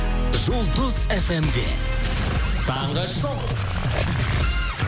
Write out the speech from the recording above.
жұлдыз эф эм де таңғы шоу